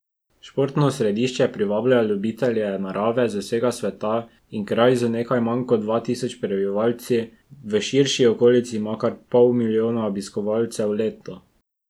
Športno središče privablja ljubitelje narave z vsega sveta in kraj z nekaj manj kot dva tisoč prebivalci v širši okolici ima kar pol milijona obiskovalcev letno.